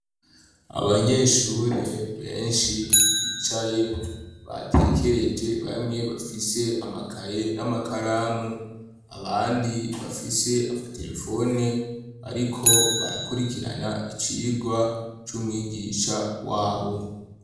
Abanyeshure benshi bicaye batekereje bamwe bafise amakaye n'amakaramu, abandi bafise amaterefone bariko barakurikirana icigwa c'umwigisha wabo.